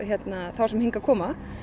þá sem hingað koma